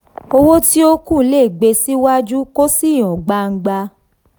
owó tí ó kù le gbé síwájú kó sì hàn gbangba.